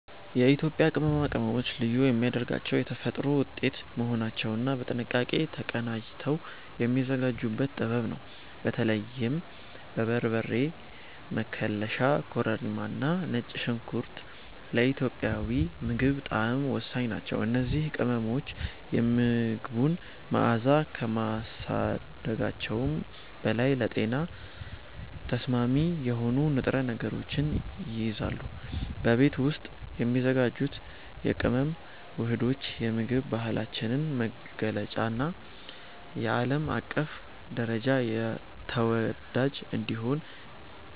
የኢትዮጵያ ቅመማ ቅመሞችን ልዩ የሚያደርጋቸው የተፈጥሮ ውጤት መሆናቸውና በጥንቃቄ ተቀናጅተው የሚዘጋጁበት ጥበብ ነው። በተለይም በርበሬ፣ መከለሻ፣ ኮረሪማና ነጭ ሽንኩርት ለኢትዮጵያዊ ምግብ ጣዕም ወሳኝ ናቸው። እነዚህ ቅመሞች የምግቡን መዓዛ ከማሳደጋቸውም በላይ ለጤና ተስማሚ የሆኑ ንጥረ ነገሮችን ይይዛሉ። በቤት ውስጥ የሚዘጋጁት የቅመም ውህዶች የምግብ ባህላችንን መገለጫና በዓለም አቀፍ ደረጃ ተወዳጅ እንዲሆን